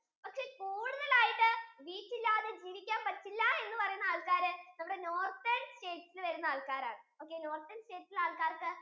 ഒക്കെ കൂടുതൽ ആയിട്ടു wheat ഇല്ലാതെ ജീവിക്കാൻ പറ്റില്ല എന്ന് പറയുന്ന ആൾക്കാര് നമ്മുടെ northern states യിൽ വരുന്ന ആൾക്കാരാണ് okaynorthern states ഇലെ ആൾക്കാർക്കു